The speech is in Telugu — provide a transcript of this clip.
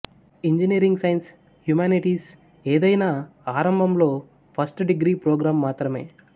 ఇంజనీరింగ్ సైన్స్ హ్యుమనిటీస్ ఏదైనా ఆరంభంలో ఫస్ట్ డిగ్రీ ప్రోగ్రామ్ మాత్రమే